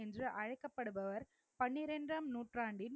என்று அழைக்கப்படுபவர் பன்னிரண்டாம் நூற்றாண்டின்